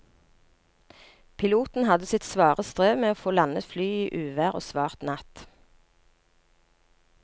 Piloten hadde sitt svare strev med å få landet flyet i uvær og svart natt.